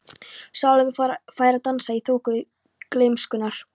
Salóme fær að dansa í þoku gleymskunnar.